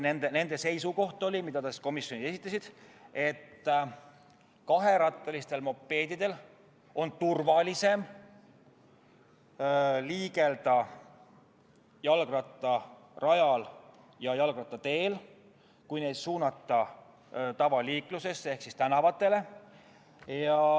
Nende seisukoht, mida nad komisjonile esitasid, oli, et kaherattalistel mopeedidel on turvalisem liigelda jalgrattarajal ja jalgrattateel, kui suunata need tavaliiklusesse ehk tänavatele.